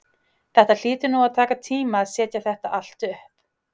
Þetta hlýtur nú að taka tíma að setja þetta allt upp?